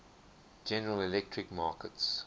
general electric markets